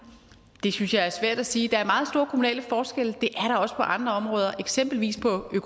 det synes jeg er svært at sige der er meget store kommunale forskelle det er der også på andre områder eksempelvis på det